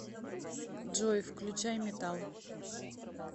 джой включай метал